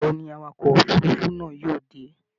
Ìgbà wo ni awakọ̀ òfurufú náà yóò dé?